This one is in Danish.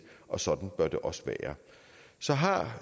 og sådan bør det også være så har